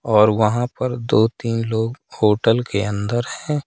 और वहाँ पर दो तीन लोग होटल के अंदर हैं।